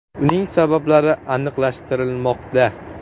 Uning sabablari aniqlashtirilmoqda.